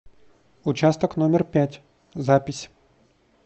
участок номер пять запись